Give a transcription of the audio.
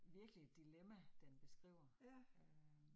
Virkelig et dilemma den beskriver øh